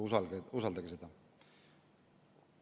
Usaldage seda!